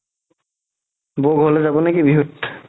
বৌ ঘৰলৈ যাব নেকি বিহুত